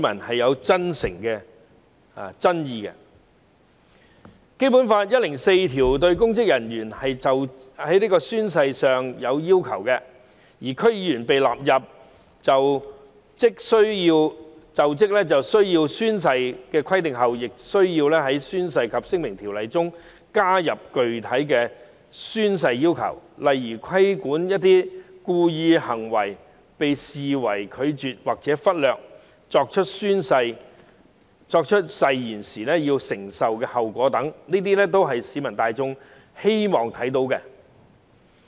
《基本法》第一百零四條訂明公務人員就職時須宣誓的要求，而在引入區議員於就職時須宣誓的規定後，《宣誓及聲明條例》亦會加入具體的宣誓要求，例如指明一些故意作出的行為會被視為拒絕或忽略作出誓言，以及須承受的後果等，這些都是市民大眾希望看到的規定。